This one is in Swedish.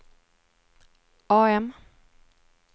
AM